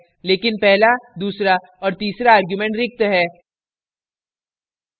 लेकिन पहला दूसरा और तीसरा arguments रिक्त है